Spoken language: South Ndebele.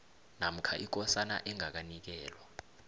namkha ikosana engakanikelwa